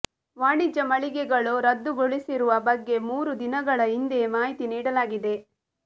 ವಾಣಿಜ್ಯ ಮಳಿಗೆಗಳು ರದ್ದುಗೊಳಿಸಿರುವ ಬಗ್ಗೆ ಮೂರು ದಿನಗಳ ಹಿಂದೆಯೇ ಮಾಹಿತಿ ನೀಡಲಾಗಿದೆ